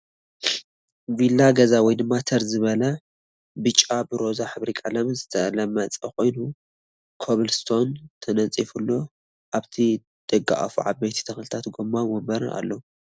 ቪላ ገዛ ወይ ድማ ተርዘበለ ቢጫ ብሮዛ ሕብሪ ቀለም ዝተለመፀ ኮይኑ ኮብል ስቶን ተነፂፍሉ ኣብቲ ደገኣፉ ዓብይ ተክሊን ጎማ ወንበርን ኣሎ።